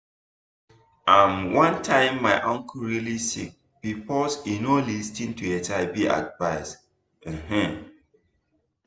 um one time my uncle really sick because e no lis ten to hiv advice um